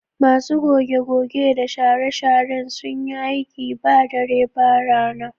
Masu goge-goge da share-sharen sun yi aiki ba dare ba rana